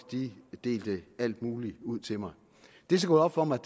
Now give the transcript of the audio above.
delte alt muligt ud til mig det er så gået op for mig